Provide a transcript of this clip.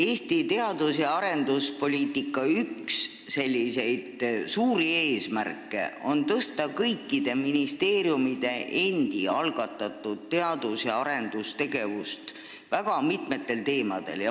Eesti teadus- ja arenduspoliitika üks suuri eesmärke on tõsta kõikide ministeeriumide endi algatatud teadus- ja arendustegevust väga mitmel tasandil.